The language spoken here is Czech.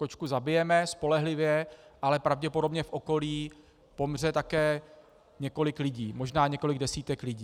Kočku zabijeme, spolehlivě, ale pravděpodobně v okolí pomře také několik lidí, možná několik desítek lidí.